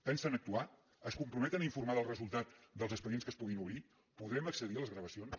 pensen actuar es comprometen a informar del resul·tat dels expedients que es puguin obrir podrem acce·dir a les gravacions